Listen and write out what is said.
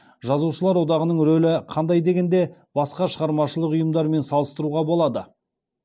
жазушылар одағының рөлі қандай дегенде басқа шығармашылық ұйымдармен салыстыруға болады